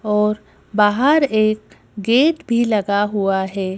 और बाहर एक गेट भी लगा हुआ है।